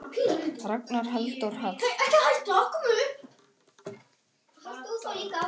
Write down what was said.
Ragnar Halldór Hall.